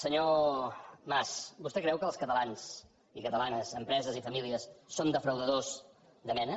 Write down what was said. senyor mas vostè creu que els catalans i catalanes empreses i famílies són defraudadors de mena